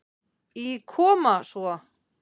Í Koma svo!